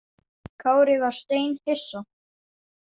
Kári var steinhissa.